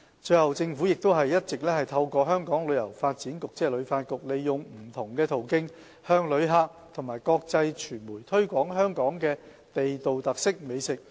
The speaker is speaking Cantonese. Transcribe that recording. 最後，政府亦一直透過香港旅遊發展局，利用不同途徑向旅客及國際傳媒推廣香港的地道特色美食。